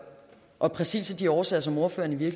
og præcis af de årsager som ordføreren i